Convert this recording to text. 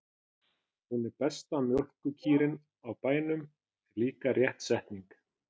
Lengi man það er ungur getur.